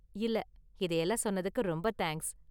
இல்ல, இதயெல்லாம் சொன்னதுக்கு ரொம்ப தேங்க்ஸ்.